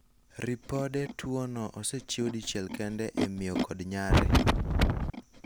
ripode tuono osechiw dichiel kende ,e miyo kod nyare